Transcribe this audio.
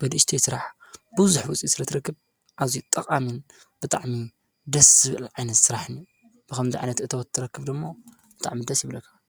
በድእሽተይ ሥራሕ ብውዙኅ ውፂ ስለ ትረክብ ኣዙይ ጠቓንን ብጥዕሚ ደስ ብልዒይነት ሠራሕ ን ብኸም ዘዕነት እተወትረክብዶ እሞ ብጥዕሚ ደስ ይብለካ::